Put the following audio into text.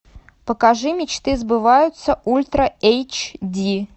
покажи мечты сбываются ультра эйч ди